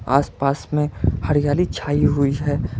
आस पास में हरियाली छाई हुई है।